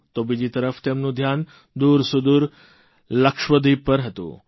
તો બીજી તરફ તેમનું ધ્યાન દુરસૂદુર લક્ષદ્વીપ પર હતું